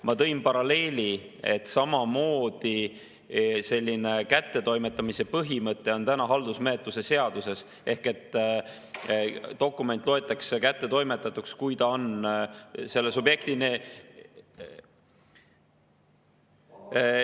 Ma tõin paralleeli, et samasugune kättetoimetamise põhimõte on haldusmenetluse seaduses, ehk dokument loetakse kättetoimetatuks, kui ta on selle subjektini …